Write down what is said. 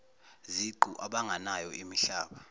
ziqu abanganayo imihlaba